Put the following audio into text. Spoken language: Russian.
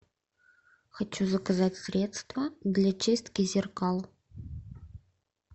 хочу заказать средство для чистки зеркал